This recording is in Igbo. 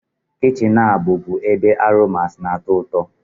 Kichin a bụbu ebe aromas na-atọ ụtọ